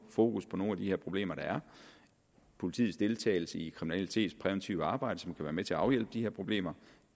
fokus på nogle af de her problemer der er politiets deltagelse i kriminalitetspræventivt arbejde som kan være med til at afhjælpe de her problemer